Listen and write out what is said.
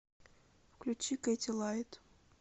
включи кэти лайд